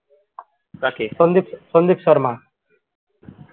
sandeep~ Sandeep sharma